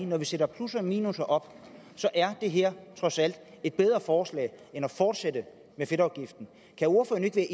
når vi stiller plusser og minusser op så er det her trods alt et bedre forslag end at fortsætte med fedtafgiften kan ordføreren ikke